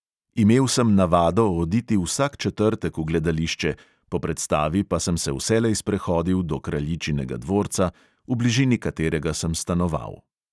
Imel sem navado oditi vsak četrtek v gledališče, po predstavi pa sem se vselej sprehodil do kraljičinega dvorca, v bližini katerega sem stanoval.